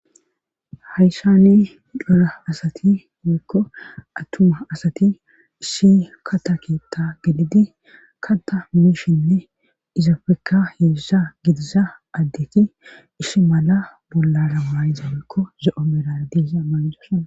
Haysani cora asati yeekko attuma asati ishi kata keetta gelidi kata mumishinne izafekka yedesha gidisa addeti ishi mala bollara maayza woykko zo7o merardiya maa7isana.